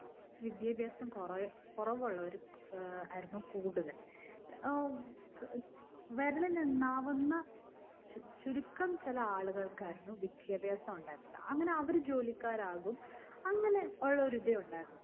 വിദ്യാഭ്യാസം കൊറേ കുറവുള്ളവരായിരുന്നു കൂടുതൽ. ഏർ വിരലിലെണ്ണാവുന്ന ചുരുക്കം ചില ആളുകൾക്കായിരുന്നു വിദ്യാഭ്യാസം ഉണ്ടായിരുന്നത്. അങ്ങനെ അവർ ജോലിക്കാരാകും. അങ്ങനെയുള്ളൊരു ഇതേ ഉണ്ടായിരുന്നുള്ളു.